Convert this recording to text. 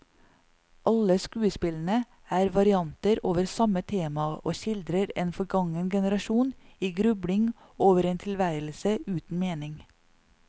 Alle skuespillene er varianter over samme tema og skildrer en forgangen generasjon i grubling over en tilværelse uten mening.